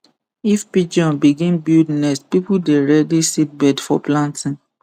if pigeon begin build nest people dey ready seedbed for planting